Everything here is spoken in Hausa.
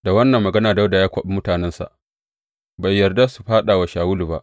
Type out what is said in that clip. Da wannan magana Dawuda ya kwaɓi mutanensa, bai yarda su fāɗa wa Shawulu ba.